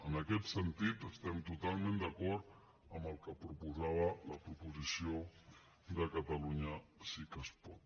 en aquest sentit estem totalment d’acord amb el que proposava la proposició de catalunya sí que es pot